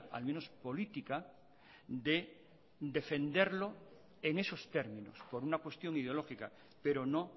al menos política de defenderlo en esos términos por una cuestión ideológica pero no